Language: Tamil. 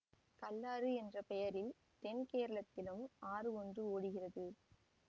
கல்லாறு என்ற பெயரில் தென்கேரளத்திலும் ஆறு ஒன்று ஓடுகிறது